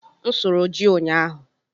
M sụrụ ji ụnyaahụ.